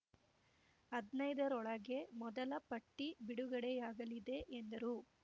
ಹದ್ನೈದ ರೊಳಗೆ ಮೊದಲ ಪಟ್ಟಿ ಬಿಡುಗಡೆಯಾಗಲಿದೆ ಎಂದರು